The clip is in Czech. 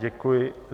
Děkuji.